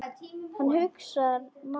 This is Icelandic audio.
Hann hugsar málið.